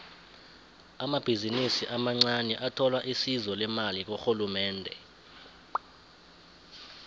amabhizinisi amancaniathola isizo lemali kurhulumende